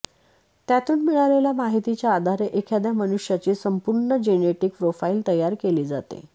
त्यातून मिळालेल्या माहितीच्या आधारे एखाद्या मनुष्याची संपूर्ण जेनेटिक प्रोफाइल तयार केली जाते